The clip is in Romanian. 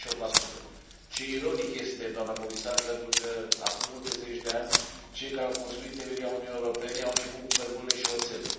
28 Ironic este, doamnă Comisar, că acum multe zeci de ani cei care au construit temelia Uniunii Europene au început cu cărbunele și oțelul.